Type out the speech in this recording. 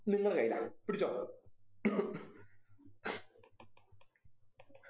നിങ്ങളെ കയ്യിലാണ് പിടിച്ചോ